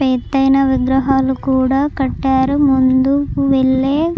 ఎత్తైన విగ్రహాలుకూడా కట్టారు. ముందుకు వెళ్లే--